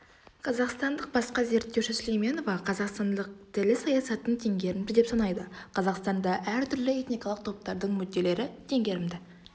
қазақстандық басқа зерттеуші сүлейменова қазақстандық тілі саясатын теңгерімді деп санайды қазақстанда әртүрлі этникалық топтардың мүдделері теңгерімді